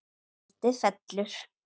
Tjaldið fellur.